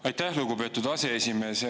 Aitäh, lugupeetud aseesimees!